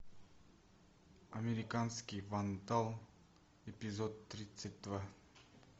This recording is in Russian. американский вандал эпизод тридцать два